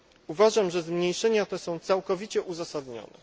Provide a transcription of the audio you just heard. Uważam, że zmniejszenia te są całkowicie uzasadnione.